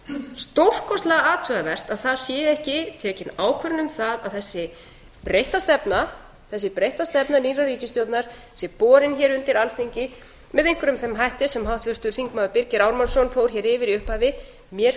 stórkostlega athugavert að það sé ekki tekin ákvörðun um það að þessi breytta stefna nýrrar ríkisstjórnar sé borin hér undir alþingi með einhverjum þeim hætti sem háttvirtur þingmaður birgir ármannsson fór hér yfir í upphafi mér